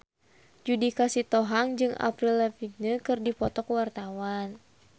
Judika Sitohang jeung Avril Lavigne keur dipoto ku wartawan